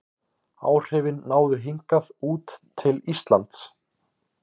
Áhrifin náðu hingað út til Íslands.